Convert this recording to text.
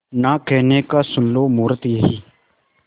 ना कहने का सुन लो मुहूर्त यही